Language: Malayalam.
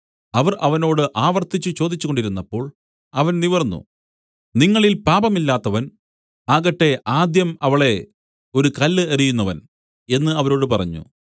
അവർ അവനോട് ആവർത്തിച്ചു ചോദിച്ചുകൊണ്ടിരുന്നപ്പോൾ അവൻ നിവർന്നു നിങ്ങളിൽ പാപമില്ലാത്തവൻ ആകട്ടെ ആദ്യം അവളെ ഒരു കല്ല് എറിയുന്നവൻ എന്നു അവരോട് പറഞ്ഞു